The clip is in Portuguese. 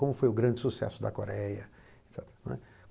Como foi o grande sucesso da Coreia et cetera, não é.